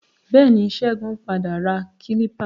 Bẹẹni, Ṣégun padà ra kílípà.